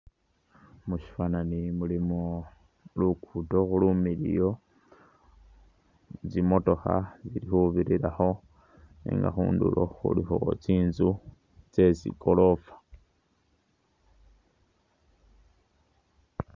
Musyifwananyi mulimu Luguudo lumiliyu, tsimotokha tsili khubirirakho, nenga khundulo khulikho tsinzu tse tsigorofa.